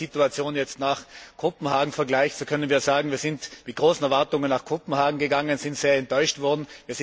Wenn man die Situation jetzt mit Kopenhagen vergleicht, so können wir sagen Wir sind mit großen Erwartungen nach Kopenhagen gegangen, und wir sind sehr enttäuscht worden.